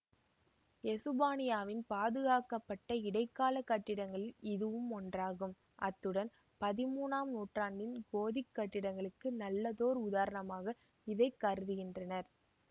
எசுப்பானியாவின் பாதுகாக்கப்பட்ட இடைக்காலக் கட்டிடங்களில் இதுவும் ஒன்றாகும் அத்துடன் பதிமூனாம் நூற்றாண்டின் கோதிக் கட்டிடங்களுக்கு நல்லதோர் உதாரணமாக இதை கருதுகின்றனர்